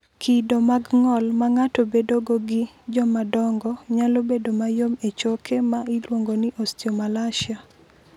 Kido mag ng’ol ma ng’ato bedogo gi jomadongo nyalo bedo mayom e choke ma iluongo ni osteomalacia.